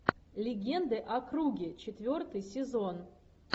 легенды о круге четвертый сезон